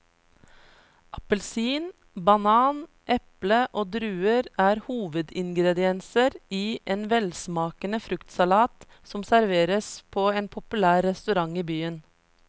Appelsin, banan, eple og druer er hovedingredienser i en velsmakende fruktsalat som serveres på en populær restaurant i byen.